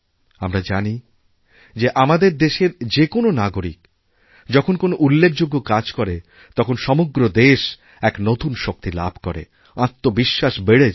আমরা জানি যে আমাদের দেশের যেকোনো নাগরিক যখন কোনও উল্লেখযোগ্য কাজ করে তখন সমগ্র দেশ এক নতুন শক্তি লাভ করেআত্মবিশ্বাস বেড়ে যায়